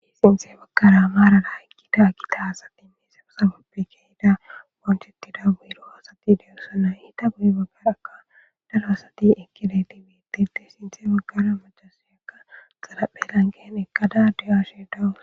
Sinthe bagkara maarana hayqki ta a kita asati mizero sabappe kehida wanchettida buyro asati deyossana ita goyi baggarakka daro asati ekide tibitete sinthe baggara macasimekka xalaphelan gehen ekkada diyashe dawu